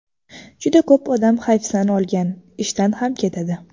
Juda ko‘p odam hayfsan olgan, ishdan ham ketadi.